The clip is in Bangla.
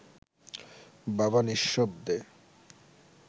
বাবা নিঃশব্দে